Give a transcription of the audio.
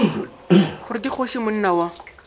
gore ke kgoši monna wa